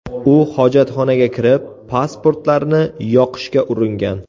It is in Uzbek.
U hojatxonaga kirib pasportlarni yoqishga uringan.